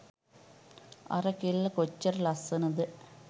අර කෙල්ල කොච්චර ලස්‌සනද?